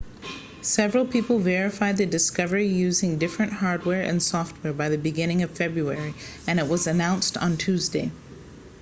several people verified the discovery using different hardware and software by the beginning of february and it was announced on tuesday